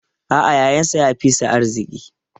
A'a, yayansa ya fi shi arziki.